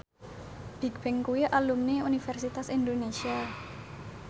Bigbang kuwi alumni Universitas Indonesia